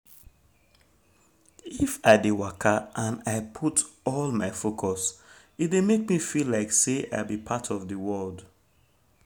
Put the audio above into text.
if i dey waka and i put um all my focus e dey make me feel like say i be part of the world